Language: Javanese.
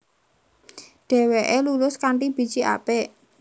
Dheweke lulus kanthi biji apik